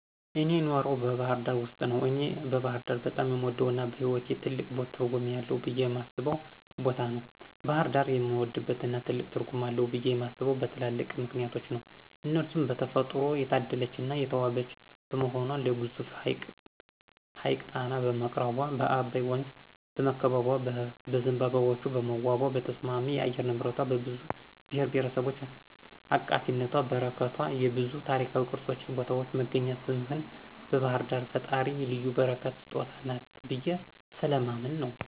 እኔ የኖረው ባህርዳር ውስጥ ነው። እኔ ባህርዳር በጣም የምወደው እና በህይዎቴ ትልቅ ትርጉም አለው ብየ የማስበው ቦታ ነው። ባሕርዳርን የምወድበትና ትልቅ ትርጉም አለው ብየ የማምነበት በትላልቅ ምክንያቶች ነው እነርሱም በተፈጥሮ የታደለች እና የተዋበች በመሆኗ ለግዙፉ ሀይቅ ጣና በመቅረቧ፣ በአባይ ወንዝ በመከበቧ፣ በዝንባባዎቿ በመዋቧ፣ በተስማሚ የአየር ንብረቷ፣ በብዙ ብሔርብሔረሰብ አቃፊነቷና በረከቷ፣ የብዙ ታሪካዊ ቅርሶችን ቦታዎች መገኛ ስምህን ባህርዳር የፈጣሪ ልዩ በረከትና ስጦታ ናት ብየ ስለማምን ነው።